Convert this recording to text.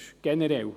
Das generell.